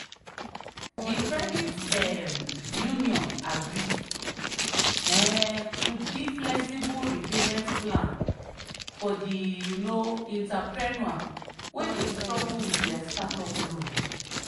the credit um union agree um to give flexible repayment plan for the um entrepreneur wey dey struggle with her startup loan.